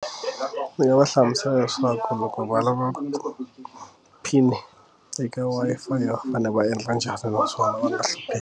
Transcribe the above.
Ndzi nga va hlamusela leswaku kumbe ku valava pin eka Wi-Fi fane va endla njhani naswona va nga hlupheki.